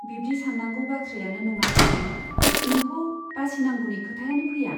बिब्दि सान्नांगौ बाथ्रायानो नङा जिरि, नोंखौ बासिनांगौनि खोथायानो फैया।